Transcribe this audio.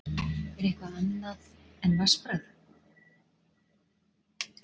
Er þetta einkenni eitthvað annað en vatnsbragð?